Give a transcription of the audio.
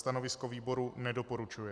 Stanovisko výboru - nedoporučuje.